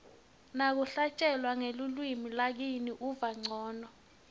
nakuhlatjelwa ngelulwimi lakini uva ncono